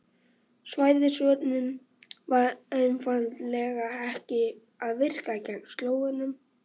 Svæðisvörnin var einfaldlega ekki að virka gegn Slóvenum.